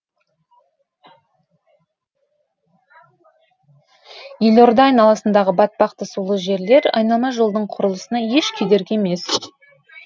елорда айналасындағы батпақты сулы жерлер айналма жолдың құрылысына еш кедергі емес